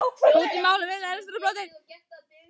Bót í máli að umræðuefnin eru á þrotum.